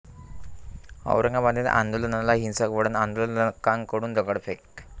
औरंगाबादेत आंदोलनाला हिंसक वळण, आंदोलकांकडून दगडफेक